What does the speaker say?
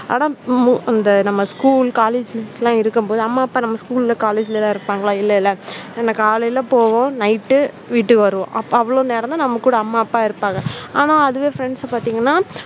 அதான் மு அந்த நம்ம school college எல்லாம் இருக்கும்போது அம்மா அப்பா நம்ம school college எல்லாம் இருப்பாங்களா இல்லல்ல நம்ம காலைல போவோம் night வீட்டுக்கு வருவோம். அவ்வளவு நேரம் தான் நம்ம அம்மா அப்பா இருப்பாங்க ஆனா அதுவே friends பாத்தீங்கன்னா